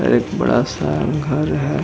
और एक बड़ा सा घर है।